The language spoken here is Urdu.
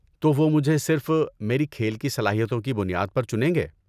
تو وہ مجھے صرف میری کھیل کی صلاحتیوں کی بنیاد پر چنیں گے؟